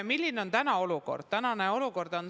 Milline on tänane olukord?